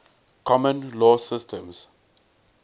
common law systems